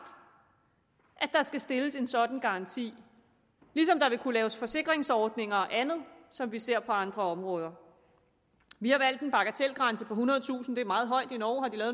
at der skal stilles en sådan garanti ligesom der vil kunne laves forsikringsordninger og andet som vi ser på andre områder vi har valgt en bagatelgrænse på ethundredetusind kroner det er meget højt i norge har